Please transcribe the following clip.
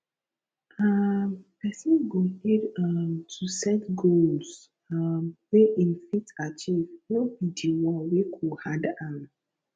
um person go need um to set goals um wey im fit achieve no be di one wey go hard am